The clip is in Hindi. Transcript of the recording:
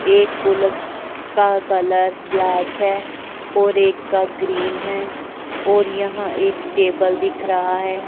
एक बुलेट का कलर ब्लैक है और एक का ग्रीन है और यहां एक टेबल दिख रहा है।